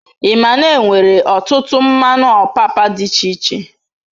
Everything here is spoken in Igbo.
Ima n'enwere otutu mmanu opapa d'iche iche